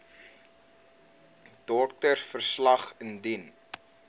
doktersverslag wcl indien